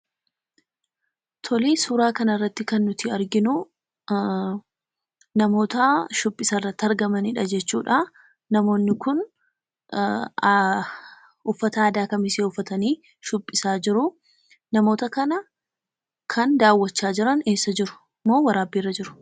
Suuraa kanarratti kan nuti arginu, namoota shubbisa irratti argamanidha jechuudha. Namoonni kun uffata aadaa kamisee uffatanii shubbisaa jiru. Namoota kana kan daawwachaa jiran eessa jiru moo waraabbiirra jiruu?